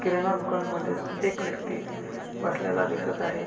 किराणा दुकानामध्ये एक व्यक्ति बसलेला दिसत आहे.